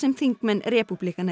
þingmenn repúblikana